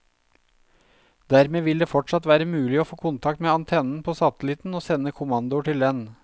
Dermed vil det fortsatt være mulig å få kontakt med antennen på satellitten og sende kommandoer til den.